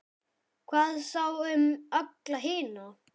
Hvað þá um alla hina?